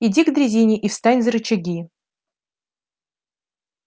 иди к дрезине и встань за рычаги